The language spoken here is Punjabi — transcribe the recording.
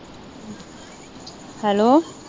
ਹੈਲੋ।